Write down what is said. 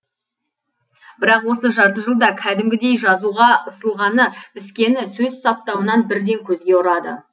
бірақ осы жарты жылда кәдімгідей жазуға ысылғаны піскені сөз саптауынан бірден көзге ұрады